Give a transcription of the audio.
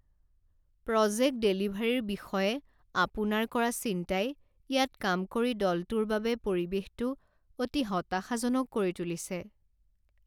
Project ডেলিভাৰীৰ বিষয়ে আপোনাৰ কৰা চিন্তাই ইয়াত কাম কৰি দলটোৰ বাবে পৰিৱেশটো অতি হতাশাজনক কৰি তুলিছে।